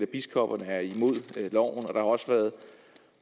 biskopperne er imod loven og der også har været